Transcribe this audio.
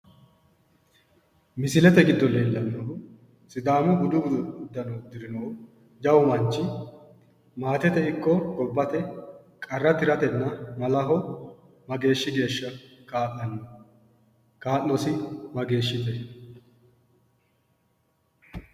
Misilete giddo leellannohu sidaamu budu uddano uddirinohu jawu manchi maatete ikko gobbate qarra tiratenna malaho mageeshshi geeshsha kaa'lanno? kaa'losi mageeshshite?